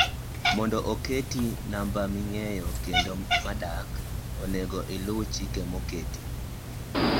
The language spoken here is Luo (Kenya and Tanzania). mondo oketi namba ming'eyo kendi madak, onego iluw chike moketi